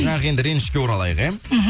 бірақ енді ренішке оралайық иә мхм